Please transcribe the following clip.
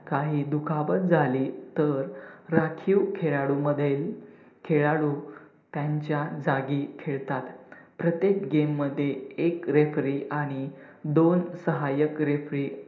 काही दुखापत झाली तर राखीव खेळाडू मधील खेळाडू त्यांचा जागी खेळतात. प्रत्येक game मध्ये एक refree आणि दोन सहायक refree